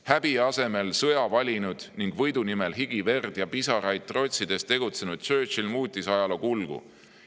Häbi asemel sõja valinud ning võidu nimel higi, verd ja pisaraid trotsides tegutsenud Churchill muutis ajaloo kulgu.